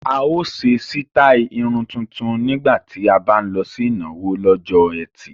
A ó ṣe sítáì irun tuntun nígbà tí a bá ń lọ sí ìnáwó lọ́jọ́ ẹtì